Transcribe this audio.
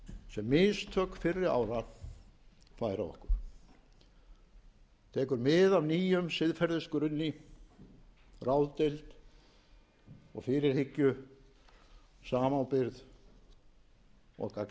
sem mistök fyrri ára færa okkur tekur mið af nýjum siðferðisgrunni ráðdeild og fyrirhyggju samábyrgð og gagnsæi þegar alþingi kemur nú saman